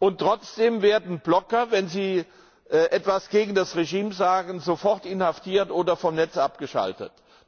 und trotzdem werden Blogger, wenn sie etwas gegen das Regime sagen, sofort inhaftiert oder vom Netz abgeschaltet.